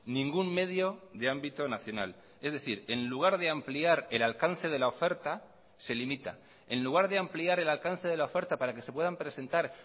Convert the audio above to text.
ningún medio de ámbito nacional es decir en lugar de ampliar el alcance de la oferta se limita en lugar de ampliar el alcance de la oferta para que se puedan presentar